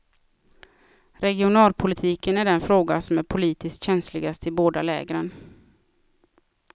Regionalpolitiken är den fråga som är politiskt känsligast i båda lägren.